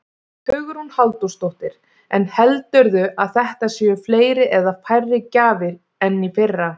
Hugrún Halldórsdóttir: En heldurðu að þetta séu fleiri eða færri gjafir en í fyrra?